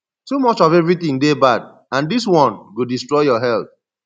too much of everything dey bad and dis one go destroy your health